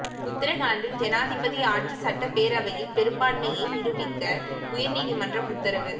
உத்தரகாண்டில் ஜனாதிபதி ஆட்சி சட்டப்பேரவையில் பெரும்பான்மையை நிரூபிக்க உயர் நீதிமன்றம் உத்தரவு